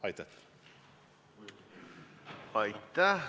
Aitäh!